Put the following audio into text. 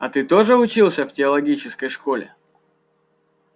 а ты тоже учился в теологической школе